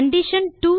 condition